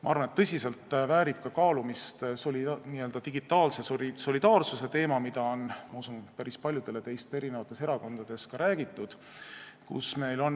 Ma arvan, et tõsiselt väärib kaalumist n-ö digitaalse solidaarsuse teema, mida on, ma usun, päris paljudele teist eri erakondades ka räägitud.